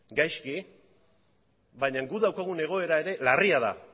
gaizki baina guk daukagun egoera ere larria da